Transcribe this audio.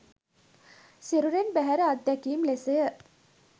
සිරුරෙන් බැහැර අත්දැකීම් ලෙසය